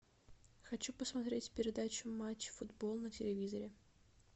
хочу посмотреть передачу матч футбол на телевизоре